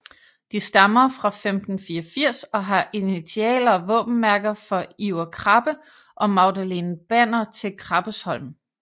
De stammer fra 1584 og har initialer og våbenmærker for Iver Krabbe og Magdalene Banner til Krabbesholm